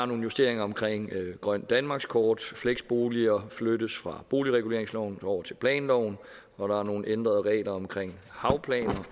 nogle justeringer omkring grønt danmarkskort og fleksboliger flyttes fra boligreguleringsloven over til planloven og der er nogle ændrede regler omkring havplaner